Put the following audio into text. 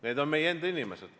Need on meie enda inimesed.